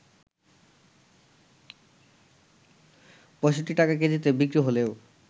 ৬৫ টাকা কেজিতে বিক্রি হলেও